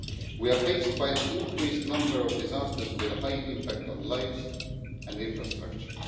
We are faced with an increased number of disasters with a high impact on lives and infrastructure.